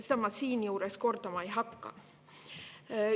Seda ma siinjuures kordama ei hakka.